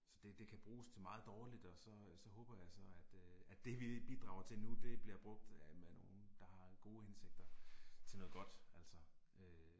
Så det det kan bruges til meget dårligt og så øh så håber jeg så at øh at det vi bidrager til nu det bliver af med nogen der har en gode indsigter til noget godt, altså øh